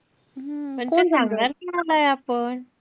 पण ते सांगणार कोणालाय आपण?